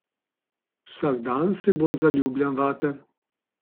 Vsak dan se bolj zaljubljam vate.